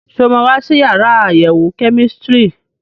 Ṣé o máa wá sí yàrá àyẹ̀wò kẹ́mísítírì?